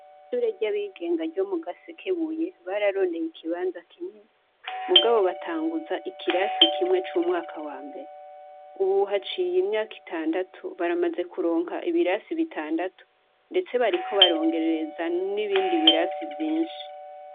Kw'ishure ry'abigenga ryo mu Gasekebuye bararondeye ikibanza kinini, mugabo batanguza ikirasi kimwe co mu mwaka wa mbere. Ubu haciye imyaka itandatu, baramaze kuronka ibirasi bitandatu, ndetse bariko barongereza n'ibindi birasi vyinshi